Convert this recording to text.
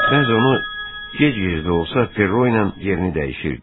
Bəzən o gec-gec də olsa Perro ilə yerini dəyişirdi.